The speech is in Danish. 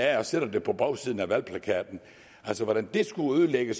af og sætter det på bagsiden af valgplakaten altså hvordan det skulle ødelægge